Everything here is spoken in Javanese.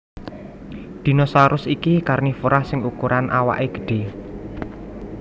Dinosaurus iki karnivora sing ukuran awaké gedhé